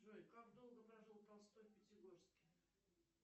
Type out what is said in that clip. джой как долго прожил толстой в пятигорске